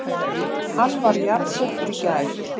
Hann var jarðsettur í gær